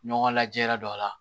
Ɲɔgɔn lajɛ yɛrɛ dɔ la